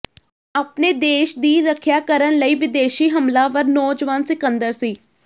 ਆਪਣੇ ਦੇਸ਼ ਦੀ ਰੱਖਿਆ ਕਰਨ ਲਈ ਵਿਦੇਸ਼ੀ ਹਮਲਾਵਰ ਨੌਜਵਾਨ ਸਿਕੰਦਰ ਸੀ